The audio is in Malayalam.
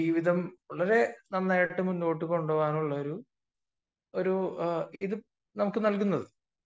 ജീവിതം വളരെ നന്നായി മുന്നോട്ട് കൊണ്ടുപോവാനുള്ള ഒരു ഇത് നമുക്ക് നൽകുന്നത്